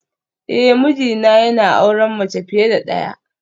Eh mijina yana auren mace fiye da daya